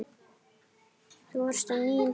Þú varst á nýjum skóm.